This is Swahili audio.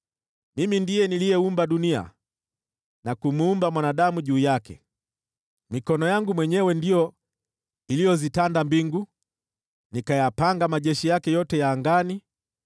Mimi ndiye niliyeumba dunia na kumuumba mwanadamu juu yake. Mikono yangu mwenyewe ndiyo iliyozitanda mbingu, nikayapanga majeshi yake yote ya angani.